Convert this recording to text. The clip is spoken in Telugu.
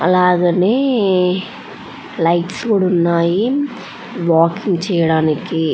అలాగ లైట్స్ కూడ ఉన్నాయి వాకింగ్ చేయడానికి --